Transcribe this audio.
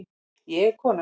Ég er kona